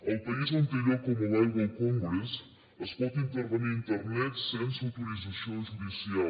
al país on té lloc el mobile world congress es pot intervenir internet sense autorització judicial